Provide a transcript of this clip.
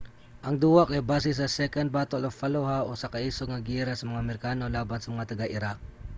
ang duwa kay base sa second battle of fallujah usa ka isog nga giyera sa mga amerikano laban sa mga taga-iraq